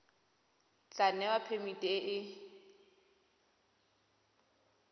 tla newa phemiti e e